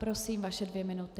Prosím, vaše dvě minuty.